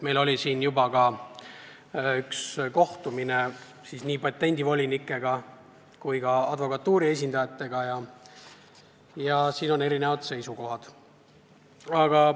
Meil oli juba üks kohtumine nii patendivolinikega kui ka advokatuuri esindajatega, neil on erinevad seisukohad.